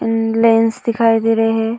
And lens दिखाई दे रहे है।